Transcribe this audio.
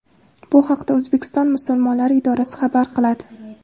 Bu haqda O‘zbekiston musulmonlari idorasi xabar qiladi .